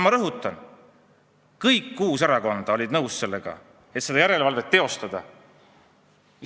Ma rõhutan: kõik kuus erakonda olid nõus, et seda järelevalvet tuleks teha.